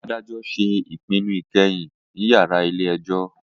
Adajọ ṣe ipinnu ikẹhin ni yárà ile-ẹjọ.